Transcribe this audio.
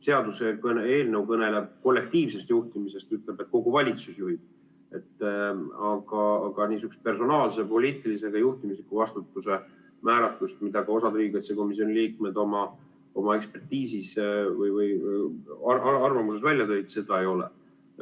Seaduseelnõu kõneleb kollektiivsest juhtimisest ja ütleb, et kogu valitsus juhib, aga niisugust personaalse poliitilise juhtimise vastutuse määratlust, mida ka osa riigikaitsekomisjoni liikmeid oma ekspertiisis või arvamuses välja tõid, seda ei ole.